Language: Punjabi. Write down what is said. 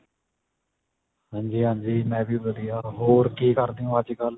ਹਾਂਜੀ ਹਾਂਜੀ ਮੈਂ ਵੀ ਵਧੀਆ ਹੋਰ ਕੀ ਕਰਦੇ ਓ ਅੱਜਕਲ